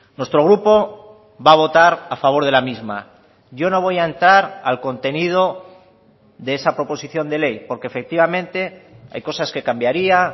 nuestro grupo va a votar a favor de la misma yo no voy a entrar al contenido de esa proposición de ley porque efectivamente hay cosas que cambiaría